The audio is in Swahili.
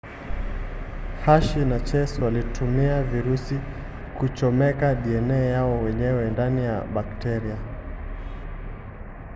hershey na chase walitumia virusi kuchomeka dna yao wenyewe ndani ya bakteria